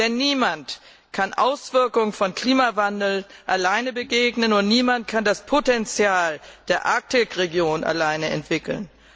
Denn niemand kann den Auswirkungen des Klimawandels alleine begegnen, und niemand kann das Potenzial der Arktisregion alleine entwickeln.